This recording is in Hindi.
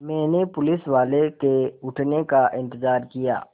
मैंने पुलिसवाले के उठने का इन्तज़ार किया